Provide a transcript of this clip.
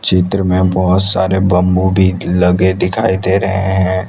चित्र में बहोत सारे बंबू भी लगे दिखाई दे रहे हैं।